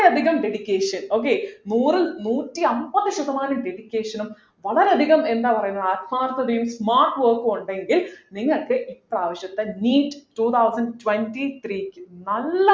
അത്രയധികം dedication okay നൂറു നൂറ്റി അമ്പത് ശതമാനം dedication ഉം വളരെയധികം എന്താ പറയുന്നത് ആത്മാർത്ഥതയും mark ഉം ഒക്കെ ഉണ്ടെങ്കിൽ നിങ്ങൾക്ക് ഇപ്രാവശ്യത്തെ NEETtwo thousand twenty three ക്ക് നല്ല